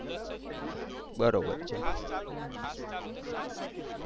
દસ જ minute. fast ચાલુ fast ચાલુ તો સાત મિનિટ થાય.